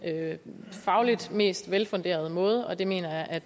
fagligt mest velfunderede måde og der mener jeg at